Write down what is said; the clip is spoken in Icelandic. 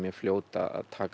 fljót að taka